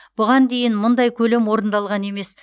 бұған дейін мұндай көлем орындалған емес